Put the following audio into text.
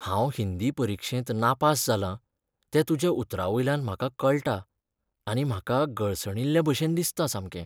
हांव हिंदी परिक्षेंत नापास जालां तें तुज्या उतरांवयल्यान म्हाका कळटाआनी म्हाका गळसणिल्ल्याभशेन दिसता सामकें.